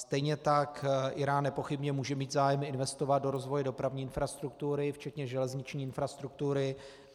Stejně tak Írán nepochybně může mít zájem investovat do rozvoje dopravní infrastruktury, včetně železniční infrastruktury.